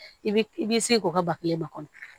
I bi i b'i se k'o ka ba kelen ma kɔnɔ